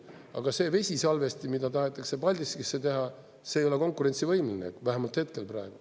Aga see vesisalvesti, mida tahetakse Paldiskisse teha, ei ole konkurentsivõimeline vähemalt hetkel praegu.